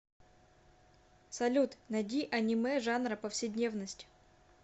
салют найди анимэ жанра повседневность